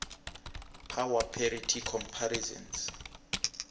power parity comparisons